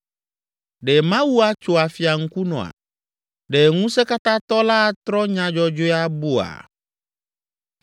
Ɖe Mawu atso afia ŋkunɔa? Ɖe Ŋusẽkatãtɔ la atrɔ nya dzɔdzɔe abua?